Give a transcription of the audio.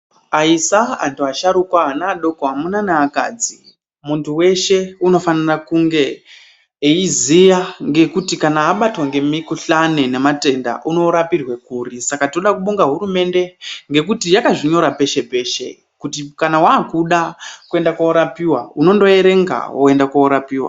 Aisa, antu asharuka, ana, amuna naakadzi muntu weshe unofanire kunge eyiziya kuti kana abatwa ngematenda unorapirwe kuri. Saka tinoda kubonga hurumende ngekuti yakazvinyora peshe kuti kana waakuda kuende koorapiwa unondoerenga woende koorapiwa.